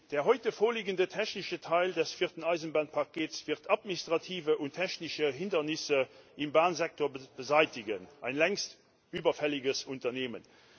Der heute vorliegende technische Teil des vierten Eisenbahnpakets wird administrative und technische Hindernisse im Bahnsektor beseitigen ein längst überfälliges Unternehmen.